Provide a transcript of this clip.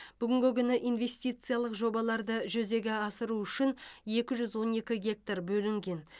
бүгінгі күні инвестициялық жобаларды жүзеге асыру үшін екі жүз он екі гектар бөлінген